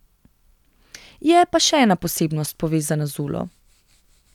Je pa še ena posebnost, povezana z Ulo.